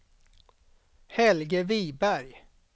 Helge Viberg